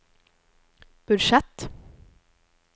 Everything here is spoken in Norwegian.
budsjett